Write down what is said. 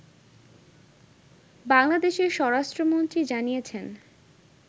বাংলাদেশের স্বরাষ্ট্রমন্ত্রী জানিয়েছেন